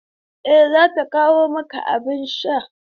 Eh, za ta kawo maka abin sha.